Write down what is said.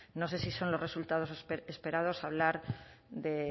no sé si son los resultados esperados hablar de